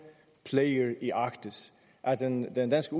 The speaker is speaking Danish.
player i arktis at den danske